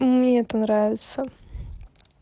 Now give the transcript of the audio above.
мне это нравится